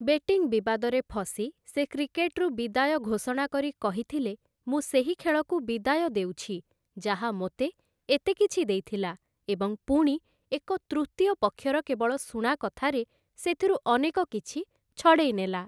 Betting ବିବାଦରେ ଫସି ସେ କ୍ରିକେଟ୍‌ରୁ ବିଦାୟ ଘୋଷଣା କରି କହିଥିଲେ, 'ମୁଁ ସେହି ଖେଳକୁ ବିଦାୟ ଦେଉଛି ଯାହା ମୋତେ ଏତେ କିଛି ଦେଇଥିଲା ଏବଂ ପୁଣି, ଏକ ତୃତୀୟ ପକ୍ଷର କେବଳ ଶୁଣାକଥାରେ, ସେଥିରୁ ଅନେକ କିଛି ଛଡ଼େଇ ନେଲା ।